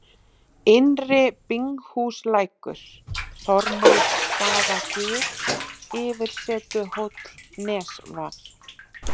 Innri-Binghúslækur, Þormóðsstaðagil, Yfirsetuhóll, Nesvað